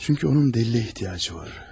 Çünki onun dəlilə ehtiyacı var.